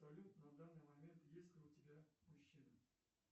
салют на данный момент есть ли у тебя мужчина